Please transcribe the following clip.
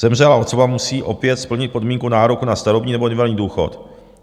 Zemřelá osoba opět musí splnit podmínku nároku na starobní nebo invalidní důchod.